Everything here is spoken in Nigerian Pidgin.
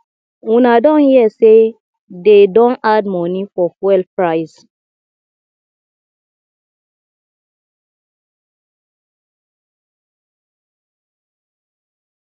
una don hear say dey don add money for fuel price